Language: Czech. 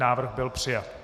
Návrh byl přijat.